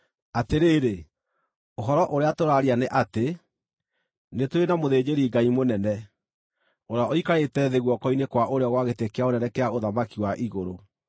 Atĩrĩrĩ, ũhoro ũrĩa tũraaria nĩ atĩ: Nĩ tũrĩ na mũthĩnjĩri-Ngai-mũnene, ũrĩa ũikarĩte thĩ guoko-inĩ kwa ũrĩo gwa gĩtĩ kĩa Ũnene kĩa ũthamaki wa igũrũ,